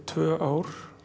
tvö ár